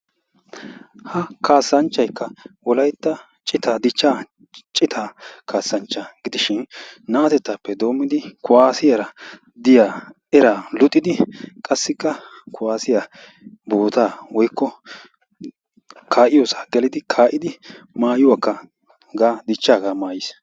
Ha kaassanchchaykka wolaytta dichcha citaa kaaassanchcha gidishin naatetappe doommidi kuwassiyaara diyaa eraa luxiddi qassikka kuwassiyaa boota woykko kaa'iyoossa gelidi kaa'idi maayyuwakka hegaa dichchaaga maayyiis.